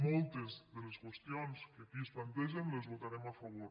mol·tes de les qüestions que aquí es plantegen les votarem a favor